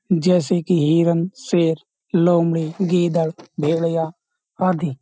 जैसे कि हिरण शेर लोमड़ी गीदड़ भेड़िया आदि।